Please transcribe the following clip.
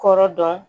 Kɔrɔ dɔn